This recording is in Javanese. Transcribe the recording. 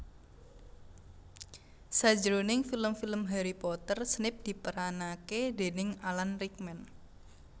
Sajroning film film Harry Potter Snape diperanake déning Alan Rickman